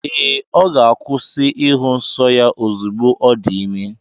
Ee, ọ ga-akwụsị ịhụ nsọ ya ozugbo ọ dị ime.